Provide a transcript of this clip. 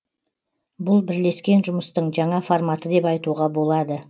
бұл бірлескен жұмыстың жаңа форматы деп айтуға болады